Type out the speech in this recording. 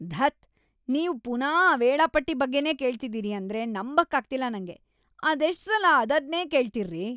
ಧತ್, ನೀವ್ ಪುನಾ ಆ ವೇಳಾಪಟ್ಟಿ ಬಗ್ಗೆನೇ ಕೇಳ್ತಿದೀರಿ ಅಂದ್ರೆ ನಂಬಕ್ಕಾಗ್ತಿಲ್ಲ ನಂಗೆ! ಅದೆಷ್ಟ್‌ ಸಲ ಅದದ್ನೇ ಕೇಳ್ತೀರ್ರಿ?!